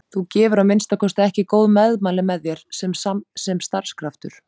Þú gefur að minnsta kosti ekki góð meðmæli með þér sem starfskraftur